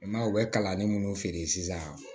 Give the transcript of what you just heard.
I m'a ye u bɛ kalanden minnu feere sisan